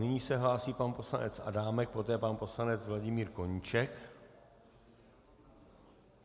Nyní se hlásí pan poslanec Adámek, poté pan poslanec Vladimír Koníček.